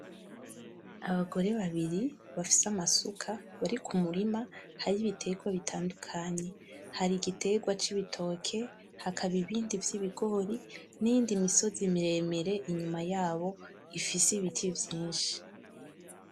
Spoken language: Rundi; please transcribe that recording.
Abagore babiri bafise amasuka, bari kumurima hari ibitegwa bitandukanye, hari igitegwa c'ibitoke, hakaba ibindi vy'ibigori, niyindi misozi miremire inyuma yabo ifise ibiti vyinshi.